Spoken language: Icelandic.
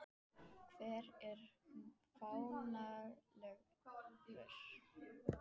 Hver er fáanlegur?